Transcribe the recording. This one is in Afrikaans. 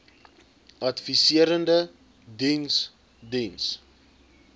adviserende diens diens